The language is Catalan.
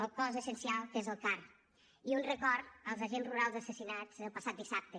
al cos essencial que és el car i un record als agents rurals assassinats el passat dissabte